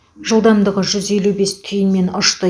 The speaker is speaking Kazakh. жылдамдығы жүз елу бес түйінмен ұшты